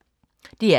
DR K